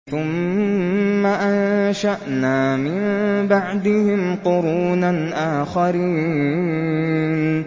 ثُمَّ أَنشَأْنَا مِن بَعْدِهِمْ قُرُونًا آخَرِينَ